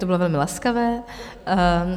To bylo velmi laskavé.